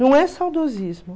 Não é saudosismo.